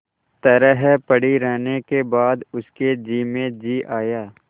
तरह पड़ी रहने के बाद उसके जी में जी आया